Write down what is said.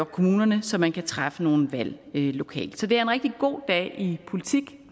kommunerne så man kan træffe nogle valg lokalt så det er en rigtig god dag i politik at